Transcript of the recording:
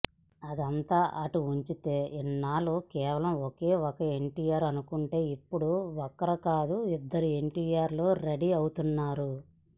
అదంతా అటుంచితే ఇన్నాళ్లు కేవలం ఒకే ఒక్క ఎన్టీఆర్ అనుకుంటే ఇప్పుడు ఒకరు కాదు ఇద్దరు ఎన్టీఆర్లు రెడీ అవుతున్నారు